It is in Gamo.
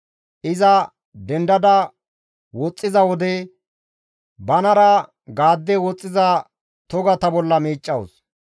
Iza dendada woxxiza wode, banara gaade woxxiza togata bolla miiccawus.